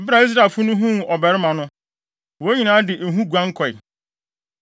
Bere a Israelfo no huu ɔbarima no, wɔn nyinaa de ehu guan kɔe.